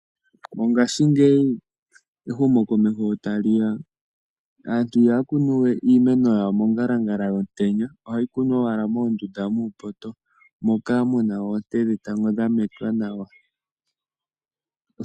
Mongashingeyi ehumokomeho tali ya aantu iha ya kunu we iimeno yawo mongalangala yomutenya, oha yi kunwa owala moondunda muupoto moka muna oonte dhetango dha metwa nawa.